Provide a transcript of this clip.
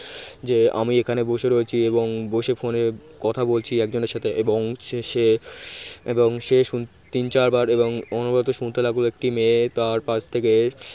যে আমি এখানে বসে রয়েছি এবং বসে phone কথা বলছি একজনের সাথে এবং সে সে এবং সে শুনতে তিন চার বার এবং অনবরত শুনতে লাগল একটি মেয়ে তার কাছ থেকে